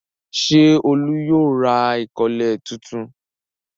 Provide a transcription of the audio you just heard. Ṣé Olú yóò ra ìkọ́lẹ̀ tuntun?